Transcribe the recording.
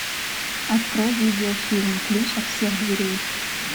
открой видеофильм ключ от всех дверей